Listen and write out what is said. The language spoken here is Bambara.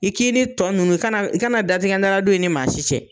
I k'i ni tɔ nunnu i kana datigɛ dala don i ni maa si cɛ.